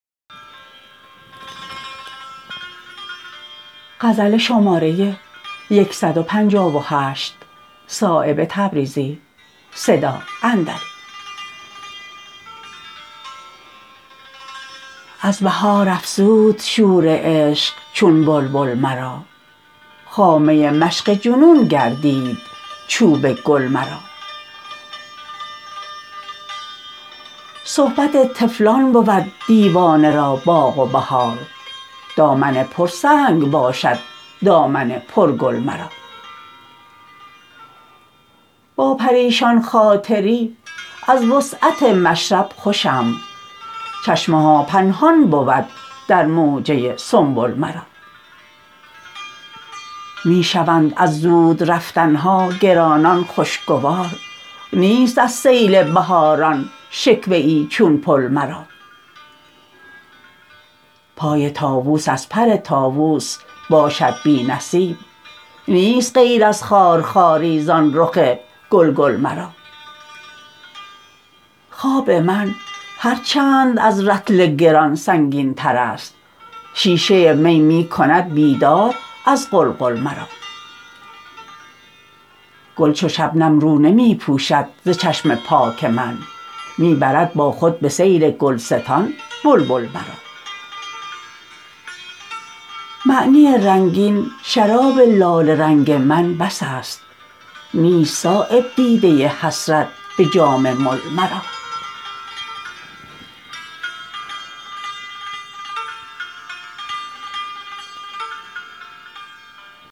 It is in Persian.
از بهار افزود شور عشق چون بلبل مرا خامه مشق جنون گردید چوب گل مرا صحبت طفلان بود دیوانه را باغ و بهار دامن پر سنگ باشد دامن پر گل مرا با پریشان خاطری از وسعت مشرب خوشم چشمه ها پنهان بود در موجه سنبل مرا می شوند از زودرفتن ها گرانان خوشگوار نیست از سیل بهاران شکوه ای چون پل مرا پای طاوس از پر طاوس باشد بی نصیب نیست غیر از خارخاری زان رخ گلگل مرا خواب من هر چند از رطل گران سنگین ترست شیشه می می کند بیدار از قلقل مرا گل چو شبنم رو نمی پوشد ز چشم پاک من می برد با خود به سیر گلستان بلبل مرا معنی رنگین شراب لاله رنگ من بس است نیست صایب دیده حسرت به جام مل مرا